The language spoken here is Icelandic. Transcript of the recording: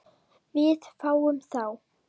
Við fáum þá